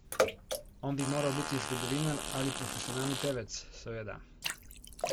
On bi moral biti zgodovinar ali profesionalni pevec, seveda!